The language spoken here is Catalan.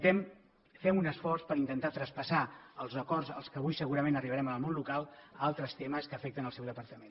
fem un esforç per intentar traspassar els acords a què avui segurament arribarem en el món local a altres temes que afecten el seu departament